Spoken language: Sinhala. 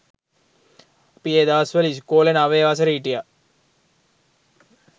අපි ඒ දවස්වල ඉස්කොලෙ නවය වසරෙ හිටිය